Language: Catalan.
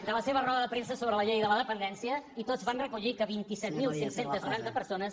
de la seva roda de premsa sobre la llei de la dependència i tots van recollir que vint set mil cinc cents i noranta persones